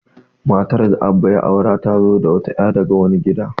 Matar da Abba ya aura, ta zo da wata ya' daga wani gida.